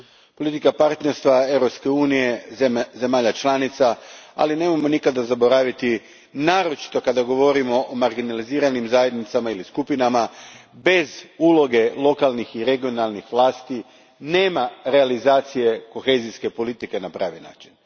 Politika partnerstva Europske unije, zemalja članica, ali nemojmo nikada zaboraviti, naročito kada govorimo o marginaliziranim zajednicama ili skupinama, da bez uloge lokalnih i regionalnih vlasti nema realizacije kohezijske politike na pravi način.